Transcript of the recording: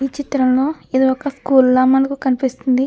ఈ చిత్రంలో ఇది ఒక స్కూల్ లా మనకు కనిపిస్తుంది.